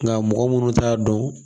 Nka mɔgɔ munnu t'a dɔn